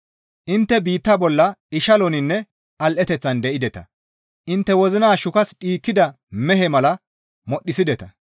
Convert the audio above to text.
Intte biitta bolla ishaloninne al7eteththan de7ideta; intte wozina shukas dhiikkida mehe mala modhdhisideta.